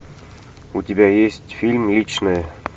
у тебя есть фильм личное